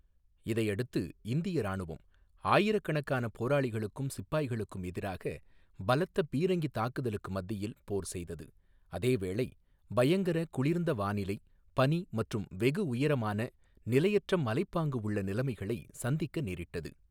இதையடுத்து, இந்திய ராணுவம் ஆயிரக்கணக்கான போராளிகளுக்கும் சிப்பாய்களுக்கும் எதிராக பலத்த பீரங்கித் தாக்குதலுக்கு மத்தியில் போர் செய்தது, அதேவேளை பயங்கரக் குளிர்ந்த வானிலை, பனி மற்றும் வெகு உயரமான, நிலையற்ற மலைப்பாங்கு உள்ள நிலமைகளை சந்திக்க நேரிட்டது.